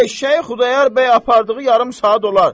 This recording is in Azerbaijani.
Eşşəyi Xudayar bəy apardığı yarım saat olar.